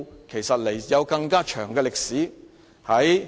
其實，這個典故有更長的歷史。